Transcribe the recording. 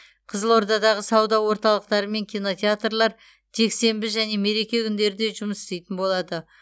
қызылордадағы сауда орталықтары мен кинотеатрлар жексенбі және мереке күндері де жұмыс істейтін болады